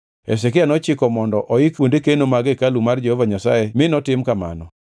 Hezekia nochiko mondo oik kuonde keno mag hekalu mar Jehova Nyasaye mi notim kamano.